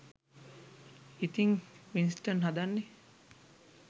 ඉතිං වින්ස්ටන් හදන්නේ